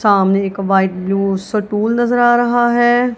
सामने एक white blue stool नजर आ रहा है।